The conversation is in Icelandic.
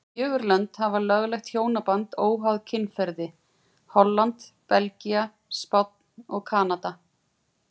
Fjögur lönd hafa lögleitt hjónaband óháð kynferði, Holland, Belgía, Spánn og Kanada.